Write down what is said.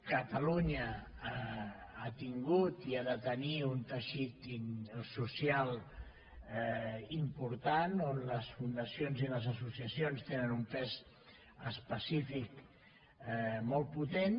catalunya ha tingut i ha de tenir un teixit social impor·tant on les fundacions i les associacions tenen un pes específic molt potent